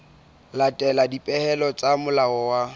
latela dipehelo tsa molao wa